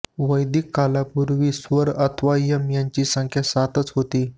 वैदिक कालापूर्वी स्वर अथवा यम यांची संख्या सातच होती